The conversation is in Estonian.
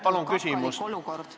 Palun küsimus!